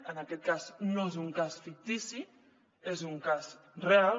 en aquest cas no és un cas fictici és un cas real